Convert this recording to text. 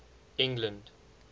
england